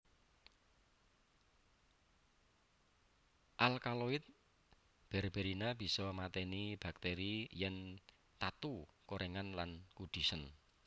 Alkaloid berberina bisa matèni bakteri yèn tatu korèngen lan kudisen